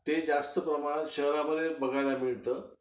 ते जास्त प्रमाणात शहरामध्ये बघायला मिळतं.